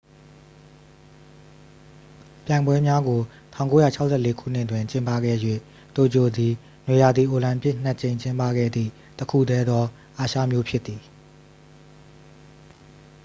ပြိုင်ပွဲများကို 1964 ခုနှစ် တွင် ကျင်းပခဲ့၍ တိုကျိုသည် နွေရာသီအိုလံပစ် နှစ် ကြိမ်ကျင်းပခဲ့သည့် တစ်ခုတည်းသော အာရှမြို့ဖြစ်သည်